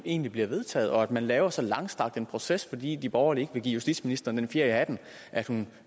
egentlig bliver vedtaget og at man laver så langstrakt en proces fordi de borgerlige vil give justitsministeren den fjer i hatten at hun